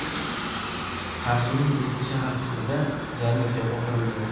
Qarshining eski shahar qismida yangi xiyobon qurildi.